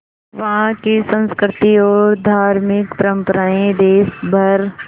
वहाँ की संस्कृति और धार्मिक परम्पराएं देश भर